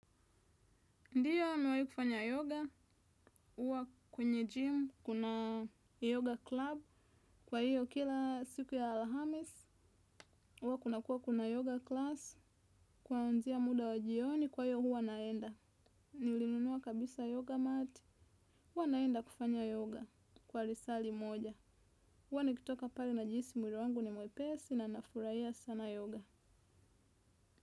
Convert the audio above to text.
Ndiyo amewahi kufanya yoga, uwa kwenye gym, kuna yoga club, kwa hiyo kila siku ya Alhamis, uwa kunakua kuna yoga class, kwanzia muda wa jioni, kwa hiyo huwa naenda. Nilinunua kabisa yoga mat, huwa naenda kufanya yoga kwa risali moja. Huwa nikitoka pare na jihisi mwiri wangu ni mwepesi na nafuraia sana yoga.